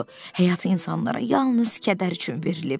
Həyat insanlara yalnız kədər üçün verilib.